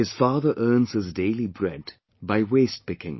His father earns his daily bread by wastepicking